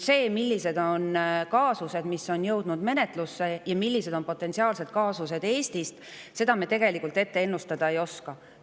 Seda, millised on kaasused, mis on jõudnud menetlusse,, ja millised on potentsiaalsed kaasused Eestis, me tegelikult ennustada ei oska.